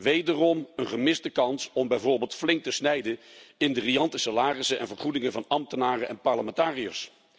Wederom een gemiste kans om bijvoorbeeld flink te snijden in de riante salarissen en vergoedingen van ambtenaren en parlementariërs.